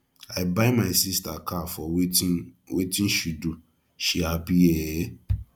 i buy my sister car for wetin wetin she do she happy ee